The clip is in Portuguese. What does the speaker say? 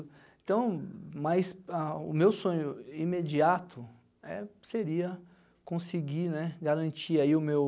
Então, mais a o meu sonho imediato né seria conseguir garantir o meu